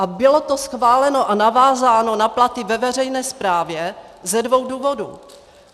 A bylo to schváleno a navázáno na platy ve veřejné správě ze dvou důvodů.